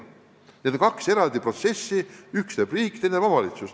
Need on kaks eraldi protsessi, üht teeb riik, teist omavalitsus.